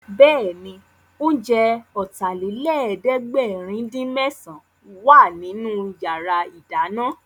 Bẹ́ẹ̀ni, oúnjẹ Ọ̀tàlélẹ̀ẹ́dẹ́gbẹ̀rin-dín-mésàn wà nínú yàrá ìdáná